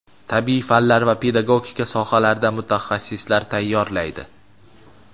tabiiy fanlar va pedagogika sohalarida mutaxassislar tayyorlaydi.